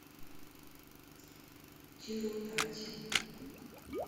тирупати